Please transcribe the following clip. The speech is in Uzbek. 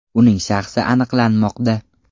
Uning shaxsi aniqlanmoqda.